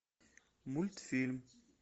мультфильм